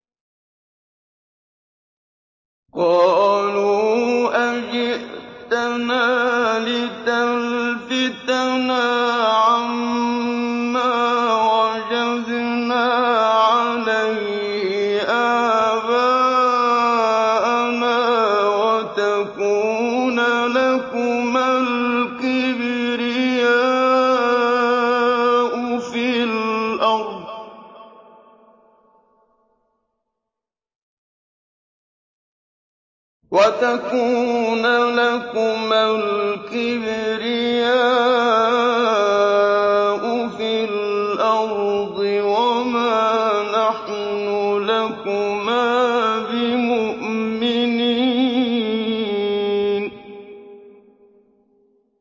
قَالُوا أَجِئْتَنَا لِتَلْفِتَنَا عَمَّا وَجَدْنَا عَلَيْهِ آبَاءَنَا وَتَكُونَ لَكُمَا الْكِبْرِيَاءُ فِي الْأَرْضِ وَمَا نَحْنُ لَكُمَا بِمُؤْمِنِينَ